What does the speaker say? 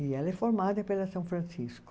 E ela é formada pela São Francisco.